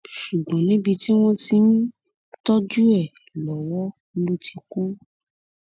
ṣùgbọn níbi tí wọn ti ń tọjú ẹ lọwọ ló ti kú